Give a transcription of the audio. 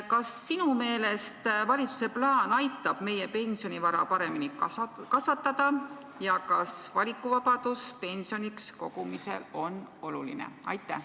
Kas sinu meelest valitsuse plaan aitab meie pensionivara paremini kasvatada ja kas valikuvabadus pensioniks raha kogumisel on oluline?